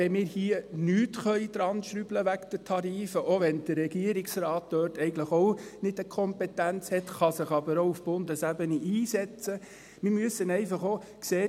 Auch wenn wir hier nicht an den Tarifen schrauben können, auch wenn der Regierungsrat dort eigentlich auch keine Kompetenz hat – er kann sich aber auch auf Bundesebene einsetzen –, müssen wir einfach auch sehen: